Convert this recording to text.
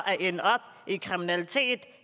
at ende i kriminalitet